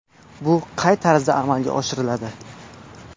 Bu qay tarzda amalga oshiriladi?